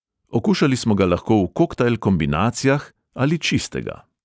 Okušali smo ga lahko v koktajl kombinacijah ali čistega.